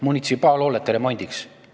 Munitsipaalhoonete remondiks!